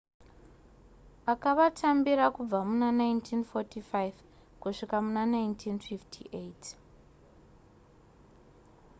akavatambira kubva muna 1945 kusvika muna 1958